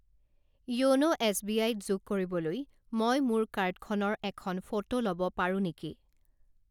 য়োনো এছবিআইত যোগ কৰিবলৈ মই মোৰ কাৰ্ডখনৰ এখন ফটো ল'ব পাৰোঁ নেকি?